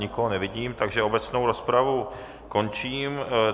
Nikoho nevidím, takže obecnou rozpravu končím.